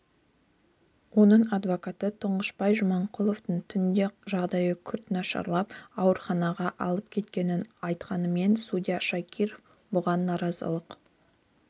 оның адвокаты тұңғышбай жаманқұловтың түнде жағдайы күрт нашарлап ауруханаға алып кеткенін айтқанымен судья шакиров бұған наразылық